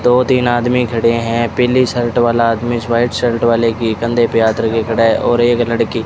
दो तीन आदमी खड़े हैं पीली शर्ट वाला आदमी इस वाइट शर्ट वाले की कंधे पे हाथ रखे खड़ा और एक लड़की --